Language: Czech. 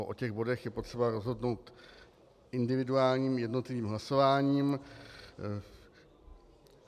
O těch bodech je potřeba rozhodnout individuálním jednotlivým hlasováním.